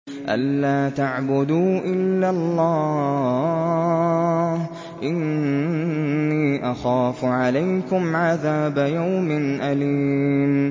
أَن لَّا تَعْبُدُوا إِلَّا اللَّهَ ۖ إِنِّي أَخَافُ عَلَيْكُمْ عَذَابَ يَوْمٍ أَلِيمٍ